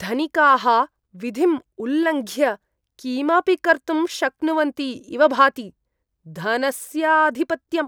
धनिकाः विधिम् उल्लङ्घ्य किमपि कर्तुं शक्नुवन्ति इव भाति, धनस्य आधिपत्यम् ।